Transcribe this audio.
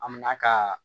An mɛna ka